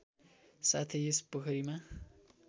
साथै यस पोखरीमा